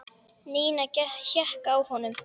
Nína hékk á honum.